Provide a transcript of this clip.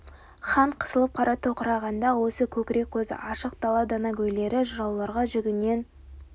хан қысылып қара тоқырағанда осы көкірек көзі ашық дала данагөйлері жырауларға жүгінген